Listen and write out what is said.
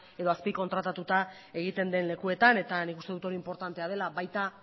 edo azpikontratatuta egiten den lekuetan eta nik uste dut hori inportantea dela baita